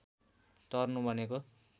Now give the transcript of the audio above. तर्नु भनेको